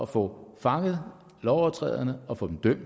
få fanget lovovertræderne og få dem dømt